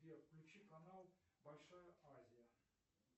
сбер включи канал большая азия